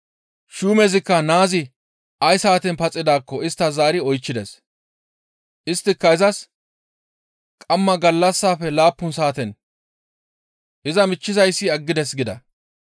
Shuumezikka naazi ay saaten paxidaakko istta zaari oychchides. Isttika izas, «Qamma gallassafe laappun saaten iza michchizayssi aggides» gida.